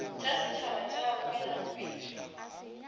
tša setšhaba tša boleng pele